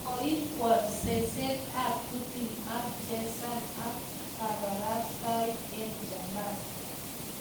Koikwor seset ab Putin ako chesan ak kabarastaik eng chaban